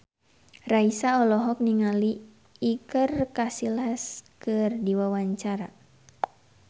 Raisa olohok ningali Iker Casillas keur diwawancara